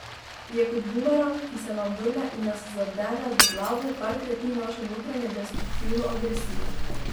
Je kot bumerang, ki se nam vrne in nas zadene v glavo, ker krepi našo notranjo destruktivno agresijo.